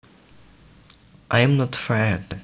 I am not fat